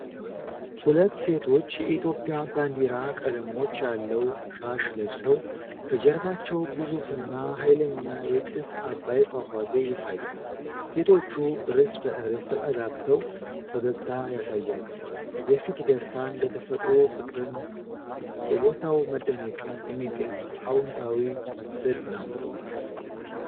ሁለት ሴቶች የኢትዮጵያን ባንዲራ ቀለሞች ያለው ሻሽ ለብሰው፤ ከጀርባቸው ግዙፍና ኃይለኛው የጥስ አባይ ፏፏቴ ይታያል። ሴቶቹ እርስ በእርስ ተጠጋግተው ፈገግታ ያሳያሉ። የፊት ደስታን ለተፈጥሮ ፍቅርን እና በቦታው መደነቅን የሚገልጽ አዎንታዊ ምስል ነው።